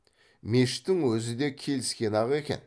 мешіттің өзі де келіскен ақ екен